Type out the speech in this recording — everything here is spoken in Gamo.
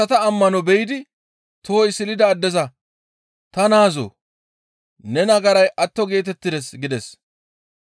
Yesusi asata ammano be7idi tohoy silida addeza, «Ta naazoo! Ne nagaray atto geetettides» gides.